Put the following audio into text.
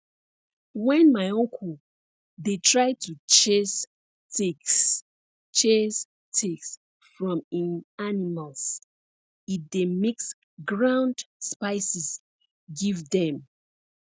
when my uncle dey try to chase ticks chase ticks from hin animals he dey mix ground spices give dem